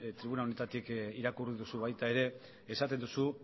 tribuna honetatik irakurri duzu baita ere esaten duzu